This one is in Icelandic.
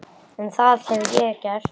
En það hef ég gert.